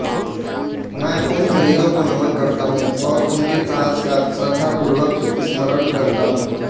मैं उन शहीदों को नमन करता हूँ और उनके साहस का श्रद्धापूर्वक स्मरण करता हूँ